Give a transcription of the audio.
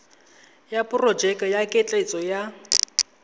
ya porojeke ya ketleetso ya